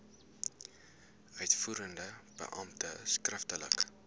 uitvoerende beampte skriftelik